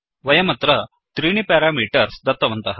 वयमत्र त्रीणि पेरामीटर्स् दत्तवन्तः